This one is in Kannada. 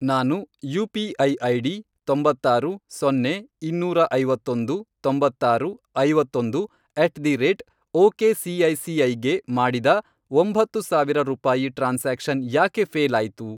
ನಾನು ಯು.ಪಿ.ಐ. ಐಡಿ, ತೊಂಬತ್ತಾರು, ಸೊನ್ನೆ, ಇನ್ನೂರ ಐವತ್ತೊಂದು, ತೊಂಬತ್ತಾರು, ಐವತ್ತೊಂದು ಅಟ್ ದಿ ರೇಟ್ ಒಕೆಸಿಐಸಿಐಗೆ ಮಾಡಿದ ಒಂಬತ್ತು ಸಾವಿರ ರೂಪಾಯಿ ಟ್ರಾನ್ಸಾಕ್ಷನ್ ಯಾಕೆ ಫ಼ೇಲ್ ಆಯ್ತು?